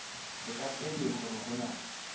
feta pele hore ho na